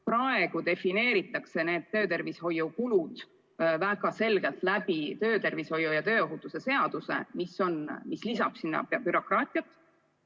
Praegu defineeritakse need töötervishoiu kulud väga selgelt töötervishoiu ja tööohutuse seaduses, mis suurendab asjaomast bürokraatiat.